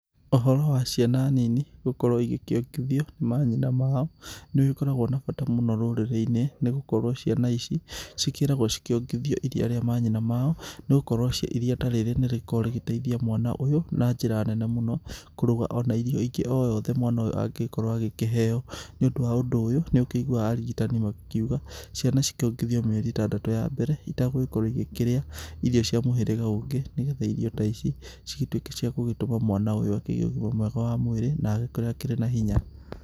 Ũhoro wa ciana nini gũkorwo igĩkĩongithio nĩ manyina mao nĩ ũgĩkoragwo na bata mũno rũrĩrĩ-inĩ nĩ gũkorwo ciana ici cikĩragwo cikĩongithio iria ria manyina mao nĩgũkorwo iria ta rĩrĩ nĩ rĩkoragwo rĩgĩteithia mwana ũyũ na njĩra nene mũno kũrũga irio ona ingĩ o ciothe o mwana ũyũ angĩkorwo akĩheo, nĩ ũndũ wa ũndũ ũyũ nĩ ũkĩigũaga arigĩtani makĩgĩkĩuga ciana ciongithio mĩeri itandatũ ya mbere itagũkorwo igĩkĩrĩa irio cia mũhĩrĩga ũngĩ nĩgetha irio ta ici ikorwo cia gũgĩtũma mwana agĩe ũgĩma mwega wa mwĩrĩ na agĩkũre akĩrĩ na hinya.